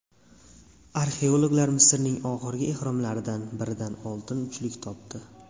Arxeologlar Misrning oxirgi ehromlaridan biridan oltin uchlik topdi .